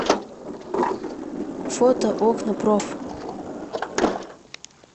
фото окнапроф